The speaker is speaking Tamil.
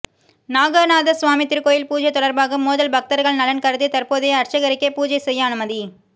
நாகநாதசுவாமி திருக்கோயில் பூஜை தொடா்பாக மோதல் பக்தா்கள் நலன் கருதி தற்போதைய அா்ச்சகருக்கே பூஜை செய்ய அனுமதி